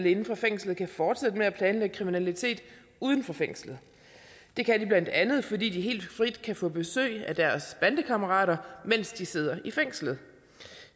inde fra fængslet kan fortsætte med at planlægge kriminalitet uden for fængslet det kan de blandt andet fordi de helt frit kan få besøg af deres bandekammerater mens de sidder i fængslet